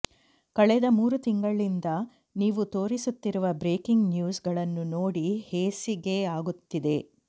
ಕಳೆದ ಮೂರು ತಿಂಗಳಿಂದ ನೀವು ತೋರಿಸುತ್ತಿರುವ ಬ್ರೇಕಿಂಗ್ ನ್ಯೂಸ್ ಗಳನ್ನು ನೋಡಿ ಹೇಸಿಗೆಯಾಗುತ್ತಿದೆ